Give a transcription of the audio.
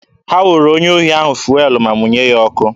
Ha wụrụ onye ohi ahụ fụelụ ma mụnye ya ọkụ.